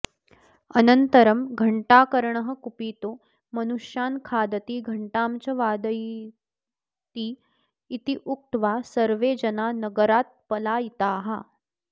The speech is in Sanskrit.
अनन्तरं घण्टाकर्णः कुपितो मनुष्यान्खादति घण्टां च वादयतीत्युक्त्वा सर्वे जना नगरात्पलायिताः